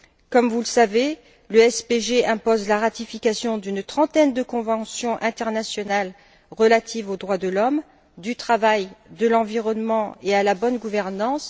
Comme vous le savez, le SPG impose la ratification d'une trentaine de conventions internationales relatives aux droits de l'homme, du travail de l'environnement, et à la bonne gouvernance.